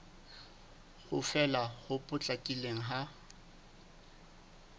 ho fela ho potlakileng ha